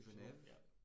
Genève ja